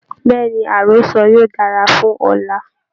Bẹ̀ẹ́ni, àrọ́sọ yóò dára fún ọ̀la.